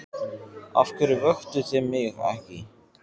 Af hverju vöktuð þið mig ekki?